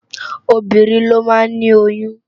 Óbirín ló má ni óyùn